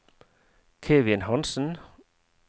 Kevin Hansen